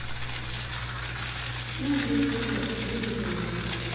индия вперед выведи мне